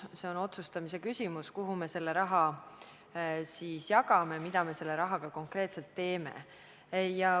See on otsustamise küsimus, kuhu me raha jagame, mida me rahaga konkreetselt teeme.